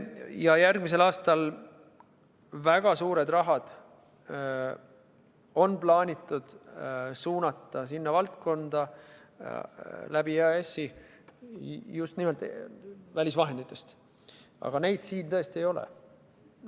Ja järgmisel aastal on väga suured rahad plaanitud suunata sellesse valdkonda läbi EAS-i just nimelt välisvahenditest, aga neid siin tõesti ei ole.